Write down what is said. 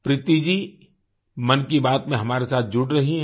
प्रीती जी मन की बात में हमारे साथ जुड़ रही हैं